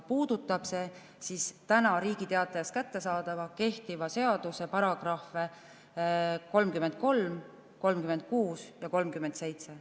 Puudutab see Riigi Teatajas kättesaadava kehtiva seaduse § 33, § 36 ja § 37.